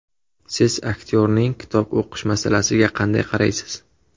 Siz aktyorning kitob o‘qish masalasiga qanday qaraysiz?